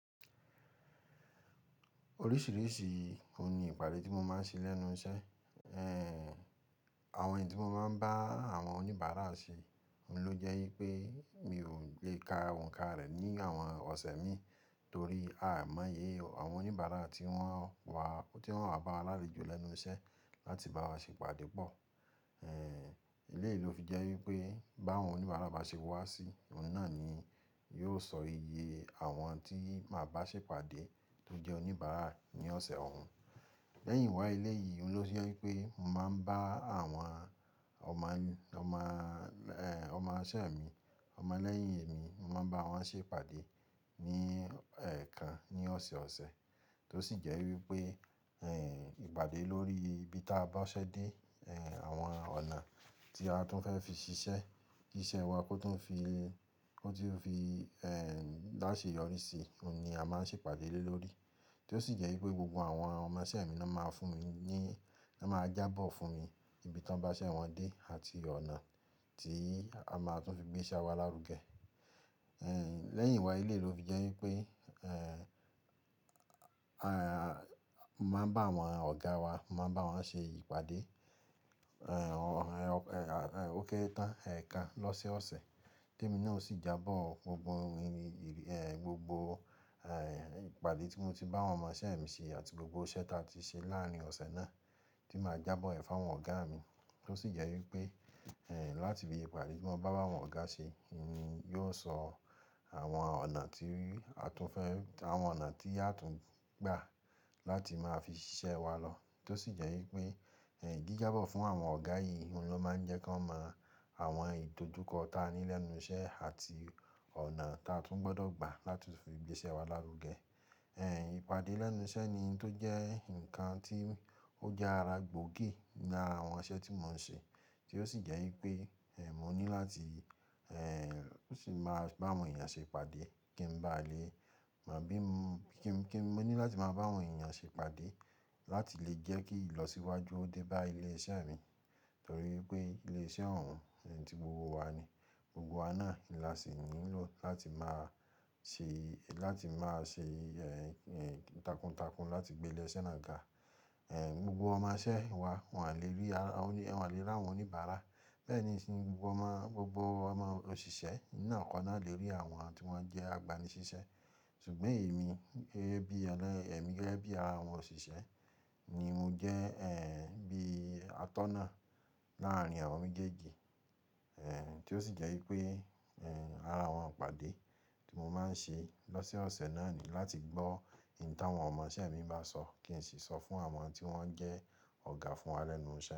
Oríṣìíríṣìí òun ni ìpàdé tí mo máa ń ṣe lẹ́nu iṣẹ́. Ehn, àwọn èyí tí mo máa ń bá àwọn oníbàárà ṣe ló jẹ́ wípé mi ò lè ka òǹkà rẹ̀ ní àwọn ọ̀sẹ̀ mi torí a ò mọ iye àwọn oníbàárà tí wọ́n á bá wa lálejò lẹ́nu iṣẹ́ láti bá wa ṣe ìpàdé pọ̀. Ẹẹ, eléyìí ló fi jẹ́ wípé bá wọn oníbàra bá ṣe wá sí, òun náà ni yóò sọ iye àwọn tí máa bá ṣe ìpàdé tó jẹ́ oníbàra ní ọ̀sẹ̀ òun. Lẹ́yìn wá eléyìí oun ló fi jẹ́ wípé màá ń bá àwọn ọmọ, ọmọ, ehn ọmọṣẹ́ mi, ọmọ lẹ́yìn mi, màá bá wọn ṣe ìpàdé ní ẹ̀ẹ̀kan ní ọ̀sẹ̀ ọ̀sẹ̀. Tó sì jẹ́ wípé, ehn ìpàdé lórí ibi tí a bá ṣẹ́ dé, ehn àwọn ọ̀nà tí a tún fẹ́ fi ṣiṣẹ́, kí iṣẹ́ wa kó tún fi, kó tún fi ehn lá ṣe yọrí sí i, òun ni a máa ń ṣe ìpàdé lórí. Tó sì jẹ́ wípé gbogbo àwọn ọmọṣẹ́ mi náà máa fún mi ní, ná máa jábọ̀ fún mi ibi tan bá ṣẹ́ wọn dé àti ọ̀nà tí a máa tún fi gbé iṣẹ́ wa lárugẹ. Ehn, lẹ́yìn iwá eléyìí ló fi jẹ́ wípé ehn, à máa ń bá àwọn ọ̀gá wa, màá n bá wọn ṣe ìpàdé, ehn ó kéré tán, ẹ̀ẹ̀kan lọ́sẹ̀ ọ̀sẹ̀. Témi náà o sì jábọ̀ gbogbo mi, ehn gbogbo ehn ìpàdé tí mo ti bá àwọn ọmọṣẹ́ mi ṣe àti gbogbo iṣẹ́ tá a ti ṣe láàárín ọ̀sẹ̀ náà, tí màá jábọ̀ ẹ̀ fún àwọn ọ̀gá mi. Tó sì jẹ́ wípé ehn láti fi ìpàdé tí wọ́n bá bá àwọn ọ̀gá ṣe ni yóò sọ àwọn ọ̀nà tí a tún fẹ́, àwọn ọ̀nà tí a tún gbà láti máa fi ṣiṣẹ́ wa lọ. Tó sì jẹ́ wípé ehn jíjábọ̀ fún àwọn ọ̀gá yìí oun ló máa ń jẹ́ kí wọ́n mọ àwọn ìdojúkọ ta ní lẹ́nu iṣẹ́ àti ọ̀nà ta tún gbọ́dọ̀ gbà láti fi gbé iṣẹ́ wa lárugẹ. Ehn ìpàdé lẹ́nu iṣẹ́ ni tó jẹ́ ǹkan tí ó jẹ́ ara gbòógì ní àwọn iṣẹ́ tí mò ń ṣe. Tó sì jẹ́ wípé ehn mo ní láti ehn sì máa bá àwọn èèyàn ṣe ìpàdé kí n bà lè mọ bí mo, kí n, kí mo ní láti máa bá àwọn èèyàn ṣe ìpàdé láti lè jẹ́ kí ìlọsíwájú ó dé bá ilé iṣẹ́ mi. Torí pé ilé iṣẹ́ òun ni ti gbogbo wa ni. Gbogbo wa náà ni a sì nílò láti máa ṣe, láti máa ṣe ehn takuntakun láti gbé ilé iṣẹ́ náà ga. Ehn gbogbo ọmọṣẹ́ wa wọ́n lè rí ara, wọ́n à lè rí àwọn oníbàárà. Bẹ́ẹ̀ ni gbogbo ọmọ, gbogbo ọmọ òṣìṣẹ́ náà kọ́ náà lè rí àwọn tí wọ́n jẹ́ agbaniṣiṣẹ́. Ṣùgbọ́n èmi, gẹ́gẹ́ bí ará àwọn òṣìṣẹ́ ni mo jẹ́ ehn bí atọ́nà láàárín àwọn méjèèjì. Ehn tí ó sì jẹ́ wípé ehn ara àwọn ìpàdé tí mo máa ń ṣe lọ́sẹ̀ ọ̀sẹ̀ náà ni láti gbọ́ ìta àwọn ọmọṣẹ́ mi bá sọ kí n sì sọ fún àwọn tí wọ́n jẹ́ ọ̀gá fún wa lẹ́nu iṣẹ́.